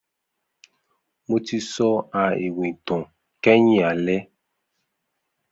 Mo ti so a iwin itan kẹhin alẹ.